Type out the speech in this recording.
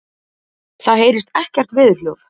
Það heyrist ekkert veðurhljóð.